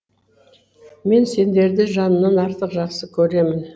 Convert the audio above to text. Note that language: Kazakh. мен сендерді жанымнан артық жақсы көремін